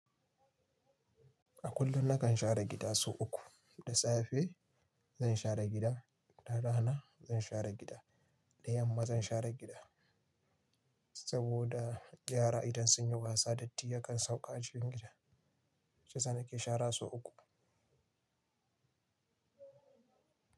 A kullum nakan share gida sau uku, da safe zan share gida, da rana zan share gida, da yamma zan share gida. Saboda yara idan sun yi wasa datti yakan sauka a cikin gida, shiyasa nake shara so uku.